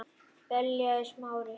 beljaði Smári.